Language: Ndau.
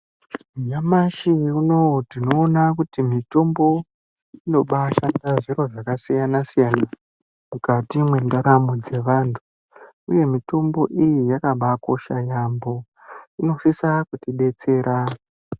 Nyamashi unowu tione kuti mitombo imobaa shanda zvakasiyana mukati mwendaramo dzevantu uye mitombo iyi yakaba kosha yambo inosisa kuti detsera.